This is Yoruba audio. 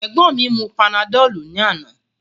Egbọn mi mu panadolu ni ana.